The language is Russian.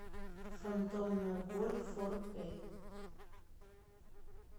фантомная боль фор кей